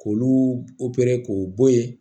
K'olu k'o bɔ yen